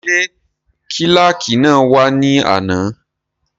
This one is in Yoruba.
Ṣé kílàkì náà wá ní àná?